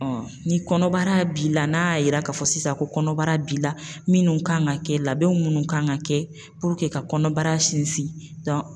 ni kɔnɔbara b'i la n'a y'a yira k'a fɔ sisan ko kɔnɔbara b'i la minnu kan ka kɛ labɛnw minnu kan ka kɛ ka kɔnɔbara sinsin